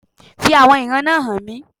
Fi àwọn ìran náà hàn mí